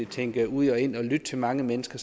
tænkt ud og ind og lyttet til mange mennesker